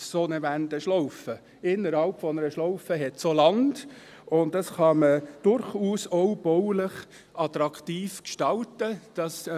In einer Schlaufe gibt es Land, das man durchaus auch baulich attraktiv gestalten kann;